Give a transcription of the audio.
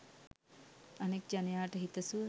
අනෙක් ජනයාට හිතසුව